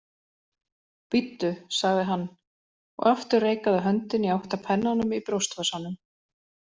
Bíddu, sagði hann og aftur reikaði höndin í átt að pennanum í brjóstvasanum.